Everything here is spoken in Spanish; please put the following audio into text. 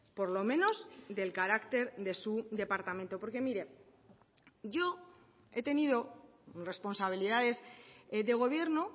por lo menos del carácter de su departamento porque mire yo he tenido responsabilidades de gobierno